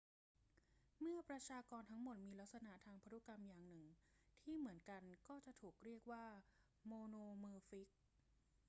เมื่อประชากรทั้งหมดมีลักษณะทางพันธุกรรมอย่างหนึ่งที่เหมือนกันก็จะถูกเรียกว่าโมโนมอร์ฟิก